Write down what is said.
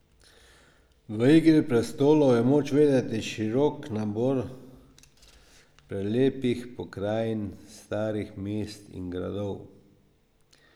V Igri prestolov je moč videti širok nabor prelepih pokrajin, starih mest in gradov.